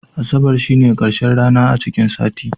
Asabar shine karshen rana a cikin sati.